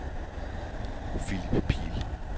Philip Pihl